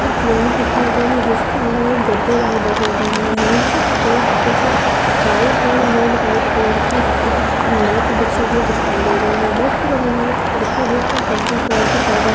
हमे क्लीनिक दिखाई दे रहा है जिसके लिए गद्देदार बेड लगा हुआ है नीचे की तरफ कुछ व्हाइट कलर की मॅट बिछि हुई दिखाई दे रही है मॅट के बगल मे खिडकी पर्पल कलर का पडदा--